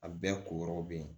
A bɛɛ ko yɔrɔ bɛ yen